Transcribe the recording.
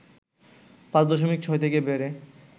৫ দশমিক ৬ থেকে বেড়ে